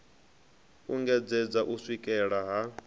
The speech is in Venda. u engedzedza u swikela ha